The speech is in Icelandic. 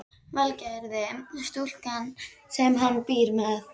Valgerði, stúlkuna sem hann býr með.